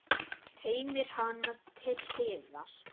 Teymir hana til hliðar.